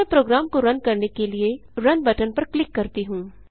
अब मैं प्रोग्राम को रन करने के लिए रुन बटन पर क्लिक करती हूँ